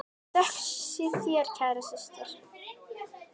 Þökk sé þér, kæra systir.